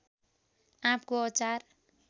आँपको अचार